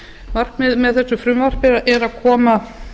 markmiðið með þessu frumvarpi er að koma